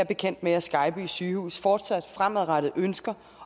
bekendt med at skejby sygehus fortsat fremadrettet ønsker